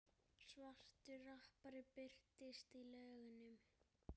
Svartur rappari birtist í lögunum